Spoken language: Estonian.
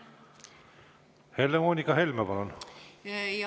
Helle-Moonika Helme, palun!